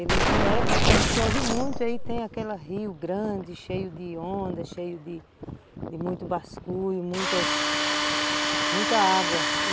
Ele tem época, quando chove muito, aí tem aquela rio grande, cheio de onda, cheio de muito basculho e muitas... muita água e